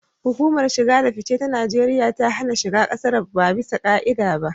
Hukumar shige da fice ta Najeriya ta hana shiga kasar ba ɓisa ka'ida ba.